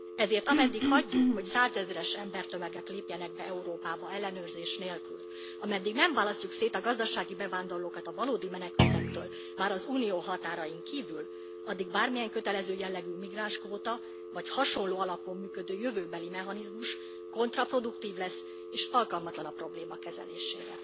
Ezért ameddig hagyjuk, hogy százezres embertömegek lépjenek be Európába ellenőrzés nélkül, ameddig nem választjuk szét a gazdasági bevándorlókat a valódi menekültektől már az Unió határain kívül, addig bármilyen kötelező jellegű migránskvóta vagy hasonló alapon működő jövőbeli mechanizmus kontraproduktív lesz és alkalmatlan a probléma kezelésére.